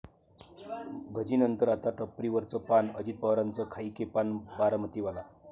भजीनंतर आता टपरीवरचं पान, अजित पवारांचं 'खाइके पान बारामतीवाला'